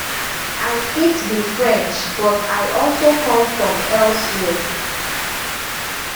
i fit be french but i also come from elsewhere